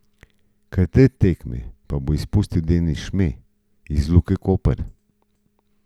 Kar tri tekme pa bo izpustil Denis Šme iz Luke Koper.